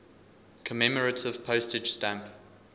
commemorative postage stamp